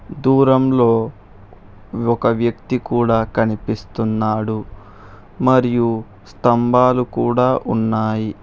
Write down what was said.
దూరంలో ఒక వ్యక్తి కూడ కనిపిస్తున్నాడు మరియు స్తంబాలు కూడ ఉన్నాయి.